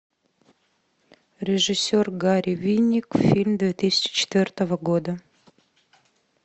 режиссер гари виник фильм две тысячи четвертого года